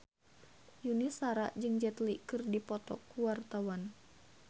Yuni Shara jeung Jet Li keur dipoto ku wartawan